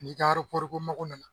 N'i ka mako nana